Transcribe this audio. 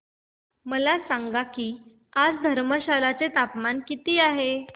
मला सांगा की आज धर्मशाला चे तापमान किती आहे